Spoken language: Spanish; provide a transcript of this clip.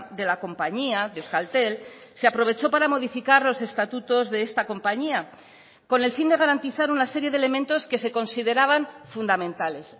de la compañía de euskaltel se aprovechó para modificar los estatutos de esta compañía con el fin de garantizar una serie de elementos que se consideraban fundamentales